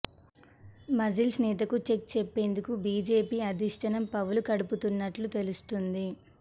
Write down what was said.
మజ్లిస్ నేతకు చెక్ చెప్పేందుకు బీజేపీ అధిష్టానం పావులు కదుపుతున్నట్టు తెలుస్తోంది